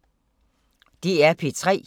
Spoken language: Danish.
DR P3